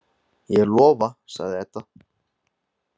Ég lofa, sagði Edda.